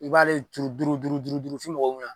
U b'ale turu duuru duuru duuru duuru f'i